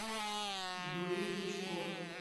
юлии бычковой